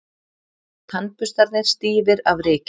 Tannburstarnir stífir af ryki.